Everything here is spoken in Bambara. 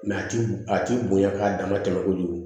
a ti a ti bonya k'a dama tɛmɛ kojugu